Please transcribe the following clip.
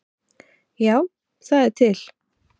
Já, það er til.